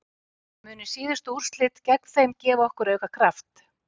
Munu síðustu úrslit gegn þeim gefa okkur auka kraft?